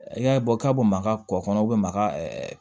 I y'a ye bɔ ka bɔ maga kɔ kɔnɔ maga